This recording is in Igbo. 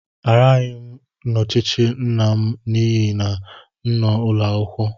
Agaraghị m ochichi nna m n'ihi na m nọ n'ụlọ akwụkwọ.